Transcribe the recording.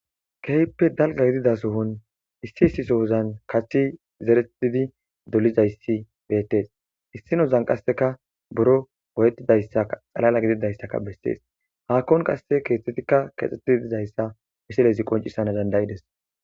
Keehipe dalga gidiza sohon issi issi sohozan kathi zeretidi dolizaysi beetes issinozan kaseka buro goyetizaysaka xalaala gidizaysaka beses haakon kase keethathika keexetidi dizaysa misilezi qoncisanas danda'ides.